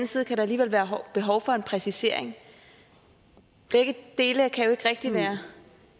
side kan der alligevel være behov for en præcisering begge dele kan jo ikke rigtig være